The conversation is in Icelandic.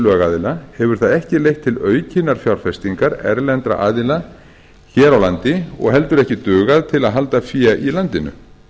lögaðila hefur það ekki leitt til aukinnar fjárfestingar erlendra aðila hér á landi og heldur ekki dugað til að halda fé í landinu